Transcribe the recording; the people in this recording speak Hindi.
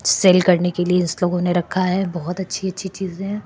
सेल काडने केलीये इन्स लोगोने रखा है बहुत अच्छी अच्छी चिजे है।